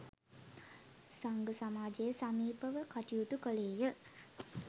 සංඝ සමාජය සමීපව කටයුතු කළේ ය.